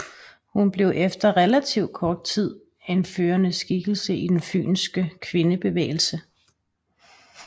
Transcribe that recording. Hun blev efter relativt kort tid en førende skikkelse i den fynske kvindebevægelse